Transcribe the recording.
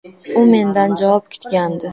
U mendan javob kutgandi.